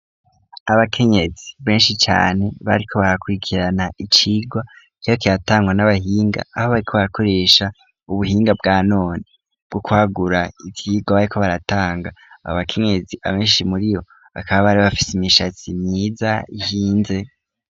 Abakenyezi benshi cane bariko barakurikirana icigwa, cariko kiratangwa n'abahinga aho bariko barakoresha ubuhinga bwa none bwo kwagura ivyigwa bariko baratanga, abo bakenyezi abenshi muri bo bakaba bari bafite imishatsi myiza ihinze.